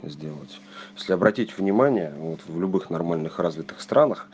сделать если обратить внимание вот в любых нормальных развитых странах